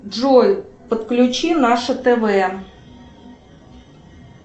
джой подключи наше тв